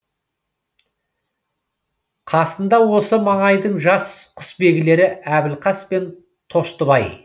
қасында осы маңайдың жас құсбегілері әбілқас пен тоштыбай